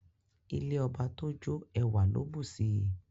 Ilé ọba tó jọ ẹwà ló bù sí I.